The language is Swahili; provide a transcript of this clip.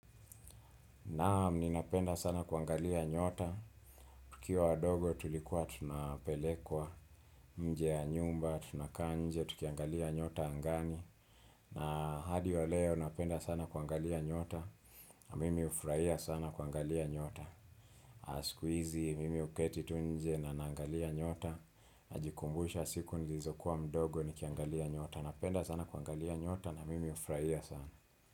Naam, ninapenda sana kuangalia nyota. Tukiwa wadogo tulikuwa tunapelekwa nje ya nyumba, tunakaa nje tukiangalia nyota angani. Na hadi wa leo, ninapenda sana kuangalia nyota. Na mimi ufurahia sana kuangalia nyota. Sikuizi, mimi uketi tu nje na naangalia nyota. Najikumbusha siku nilizokuwa mdogo, nikiangalia nyota. Napenda sana kuangalia nyota na mimi ufurahia sana.